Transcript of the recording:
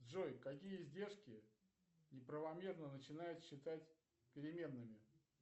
джой какие издержки неправомерно начинают считать переменными